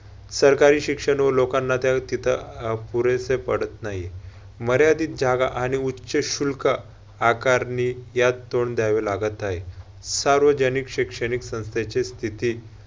सरकारी शिक्षण व लोकांना त्या तिथं पुरेसे पडत नाही. मर्यादित जागा आणि उच्च शुल्क आकारणी यास तोंड द्यावे लागत हाय. सार्वजनिक शिक्षणिक संस्थेची स्थिती